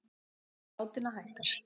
Tala látinna hækkar